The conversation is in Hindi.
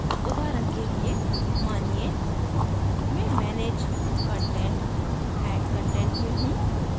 उदाहरण के लिएमानिये मैं manage content>> add content में हूँ